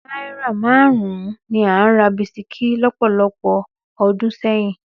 Náírà márùn-ún ni à ń ra bisikí lọ́pọ̀lọpọ̀ ọdún sẹ́yìn.